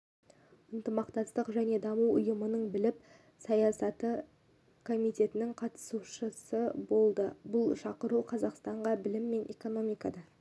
ынтымақтастық және даму ұйымының білім саясаты комитетінің қатысушы болды бұл шақыру қазақстанға білім мен экономикада